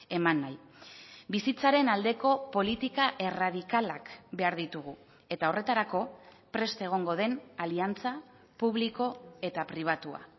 eman nahi bizitzaren aldeko politika erradikalak behar ditugu eta horretarako prest egongo den aliantza publiko eta pribatua